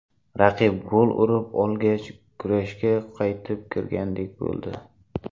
Raqib gol urib olgach, kurashga qaytib kirgandek bo‘ldi.